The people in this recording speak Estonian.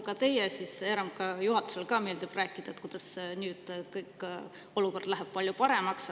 Nagu teile, nii ka RMK juhatusele meeldib rääkida, kuidas nüüd olukord läheb palju paremaks.